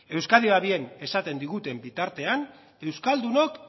euskadi va bien esaten diguten bitartean euskaldunok